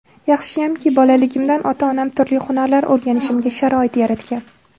Yaxshiyamki, bolaligimdan ota-onam turli hunarlar o‘rganishimga sharoit yaratgan.